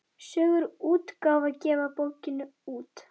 Sögur útgáfa gefur bókina út.